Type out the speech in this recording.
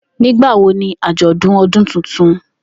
Nigbawo ni ajọdun ọdun tuntun?